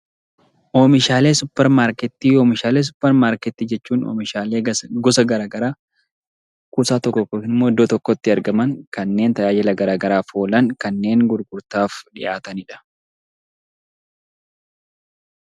Oomishaalee supermarketii. Oomishaalee supermarkeetii jechuun oomishaalee gosa garaa garaa kuusaa tokko keessatti yookiin immoo iddoo tokkotti argaman kanneen tajaajila garaa garaaf oolan kanneen gurgurtaaf dhiyaataniidha.